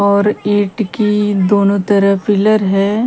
और ईट की दोनों तरफ पिल्लर है।